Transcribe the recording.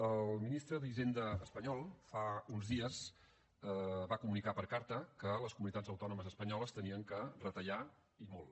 el ministre d’hisenda espanyol fa uns dies va comunicar per carta que les comunitats autònomes espanyoles havien de retallar i molt